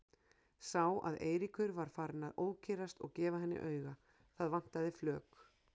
Sá að Eiríkur var farinn að ókyrrast og gefa henni auga, það vantaði flök.